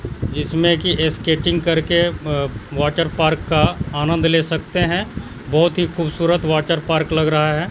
जिसमें की स्केटिंग कर के अ वाटरपार्क का आनंद ले सकते है बहोत ही खूबसूरत वाटरपार्क लग रहा है।